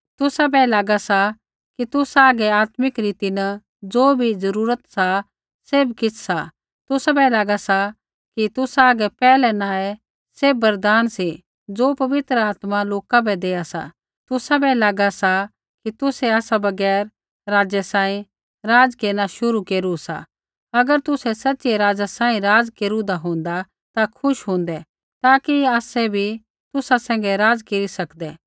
तुसै बै लागा सा कि तुसा हागै आत्मिक रीति न ज़ो भी ज़रूरत सा सैभ किछ़ सा तुसाबै लागा सा कि तुसा हागै पैहलै न ही सैभ वरदान सी ज़ो पवित्र आत्मा लोका बै देआ सा तुसाबै लागा सा कि तुसै आसा बगैर राजा सांही राज़ केरना शुरु केरू सा अगर तुसै सच़िऐ राजा सांही राज़ केरूदा होंदा ता हांऊँ खुश होंदा ताकि आसै भी तुसा सैंघै राज़ केरी सकदै